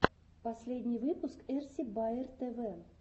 последний выпуск эрси баер тв